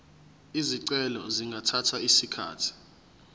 izicelo zingathatha isikhathi